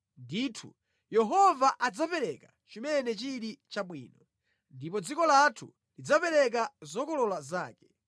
Ndithu Yehova adzapereka chimene chili chabwino, ndipo dziko lathu lidzapereka zokolola zake.